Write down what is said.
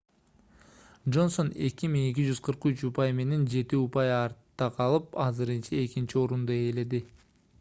джонсон 2243 упай менен жети упай артта калып азырынча экинчи орунду ээледи